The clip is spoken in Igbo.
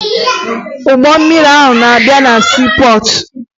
Ụgbọ mmiri ahụ na-abịa na siipọọtụ